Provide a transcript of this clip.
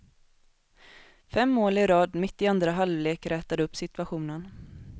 Fem mål i rad mitt i andra halvlek rätade upp situationen.